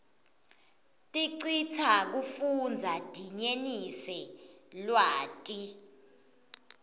tiscsita kufundza dinyenise lwati